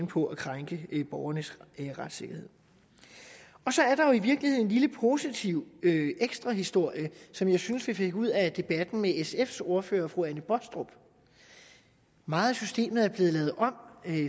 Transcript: på at krænke borgernes retssikkerhed så er der i virkeligheden en lille positiv ekstra historie som jeg synes vi fik ud af debatten med sfs ordfører fru anne baastrup meget af systemet er blevet lavet om